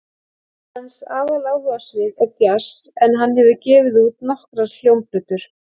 Hans aðaláhugasvið er djass en hann hefur gefið út nokkrar hljómplötur.